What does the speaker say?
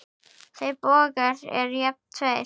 Þeir bógar eru jafnan tveir.